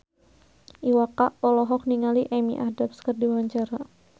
Iwa K olohok ningali Amy Adams keur diwawancara